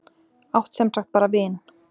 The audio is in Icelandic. Átt sem sagt bara vin.